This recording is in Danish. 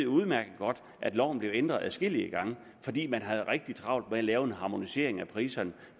udmærket godt at loven er blevet ændret adskillige gange fordi man har haft rigtig travlt med at lave en harmonisering af priserne